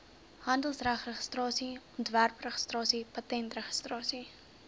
handelsmerkregistrasie ontwerpregistrasie patentregistrasie